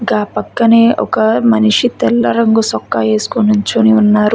గా పక్కనే ఒక మనిషి తెల్ల రంగు చొక్క వేసుకుని నుంచొని ఉన్నారు